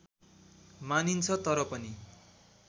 मानिन्छ तर पनि